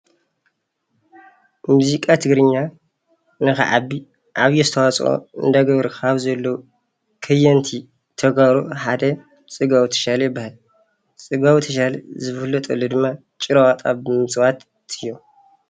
ሙዚቃ ትግርኛ ንኽዓቢ ዓብዪ ኣስተዋፅኦ እናገበሩ ካብ ዘለው ከየንቲ ተጋሩ ሓደ ፅጋቡ ተሻለ ይበሃል። ፅጋቡ ተሻለ ዝፍለጠሉ ድማ ጭራ ውኣጣ ብምጭዋት እዩ።